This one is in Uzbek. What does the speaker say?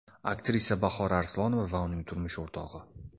Aktrisa Bahora Arslonova va uning turmush o‘rtog‘i.